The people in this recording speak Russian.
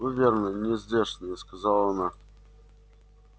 вы верно не здешние сказала она